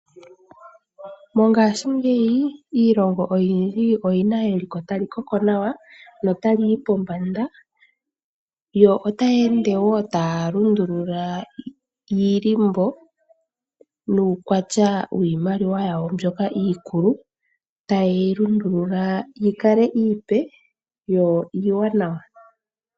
Mongashingeyi iilongo oyindji oyi na eliko tali koko nawa na ota li yi pombanda, yo otaya ende wo taya lundulula iilimbo nuukwatya wiimaliwa yawo mbyoka iikulu taya yi lundulula yi kale iipe yo iiwananwa.